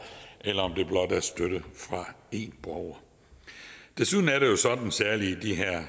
eller om der blot er støtte fra en borger desuden er det jo sådan særlig i de her